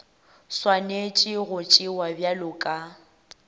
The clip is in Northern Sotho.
swanetše go tšewa bjalo ka